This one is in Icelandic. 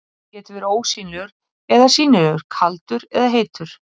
Logi getur verið ósýnilegur eða sýnilegur, kaldur eða heitur.